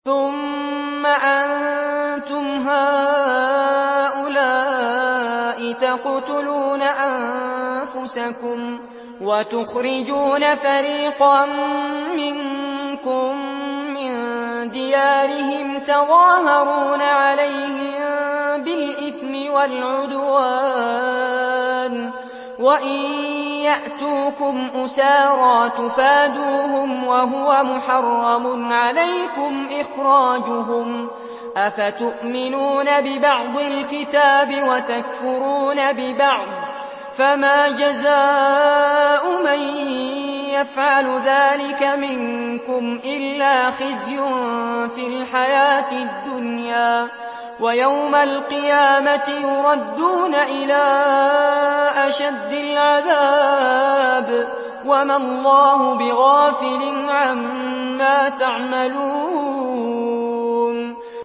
ثُمَّ أَنتُمْ هَٰؤُلَاءِ تَقْتُلُونَ أَنفُسَكُمْ وَتُخْرِجُونَ فَرِيقًا مِّنكُم مِّن دِيَارِهِمْ تَظَاهَرُونَ عَلَيْهِم بِالْإِثْمِ وَالْعُدْوَانِ وَإِن يَأْتُوكُمْ أُسَارَىٰ تُفَادُوهُمْ وَهُوَ مُحَرَّمٌ عَلَيْكُمْ إِخْرَاجُهُمْ ۚ أَفَتُؤْمِنُونَ بِبَعْضِ الْكِتَابِ وَتَكْفُرُونَ بِبَعْضٍ ۚ فَمَا جَزَاءُ مَن يَفْعَلُ ذَٰلِكَ مِنكُمْ إِلَّا خِزْيٌ فِي الْحَيَاةِ الدُّنْيَا ۖ وَيَوْمَ الْقِيَامَةِ يُرَدُّونَ إِلَىٰ أَشَدِّ الْعَذَابِ ۗ وَمَا اللَّهُ بِغَافِلٍ عَمَّا تَعْمَلُونَ